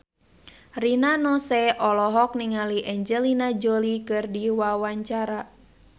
Rina Nose olohok ningali Angelina Jolie keur diwawancara